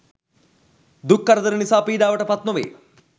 දුක් කරදර නිසා පීඩාවට පත් නොවේ